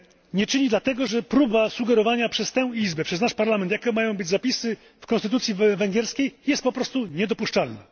Nie czyni dlatego, że próba sugerowania przez tę Izbę, przez nasz Parlament, jakie mają być zapisy w konstytucji węgierskiej, jest po prostu niedopuszczalna.